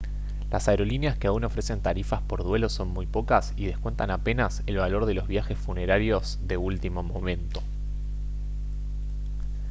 las aerolíneas que aún ofrecen tarifas por duelo son muy pocas y descuentan apenas el valor de los viajes funerarios de último momento